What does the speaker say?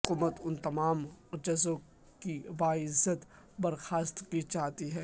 حکومت ان تمام ججوں کی باعزت برخاستگی چاہتی ہے